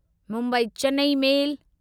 Mumbai Chennai मेल